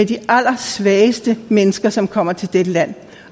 de allersvageste mennesker som kommer til dette land